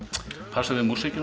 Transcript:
passar við músíkina